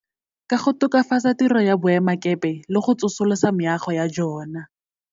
Ka go tokafatsa tiro ya boema kepe le go tsosolosa meago ya jona.